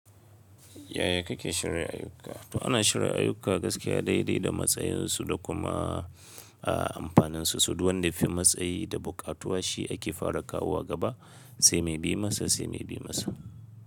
Yaya kake shirya ayyuka? To ana shirya ayyuka gaskiya daidai da matsayinsu da kuma, aah amfaninsu. So duwanda fi matsayi da buƙatuwa shi ake fara kawo gaba sai mai bi masa sai mai bi masa.